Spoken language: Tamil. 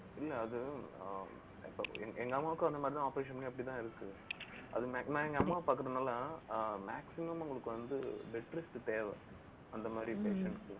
இல்லை, அது ஆஹ் எங்~எங்க அம்மாவுக்கும் அந்த மாதிரிதான் operation பண்ணி அப்படித்தான் இருக்கு. அது நான் எங்க அம்மாவை பாக்கறதுனால ஆஹ் maximum அவங்களுக்கு வந்து, bed rest தேவை அந்த மாரி patient க்கு